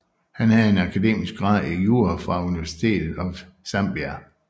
Han havde en akademisk grad i jura fra University of Zambia